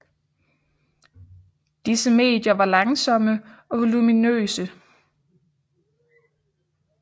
Disse medier var langsomme og voluminøse